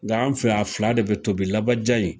Nga an fɛ Yan a fila de be tobi labaya in